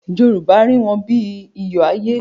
Yorùbá rí wọn bí iyọ̀ ayé.